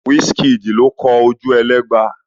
Wísííkìdì ló kọ Ojúẹlẹ́gba.